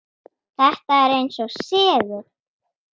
Þetta er eins og segull.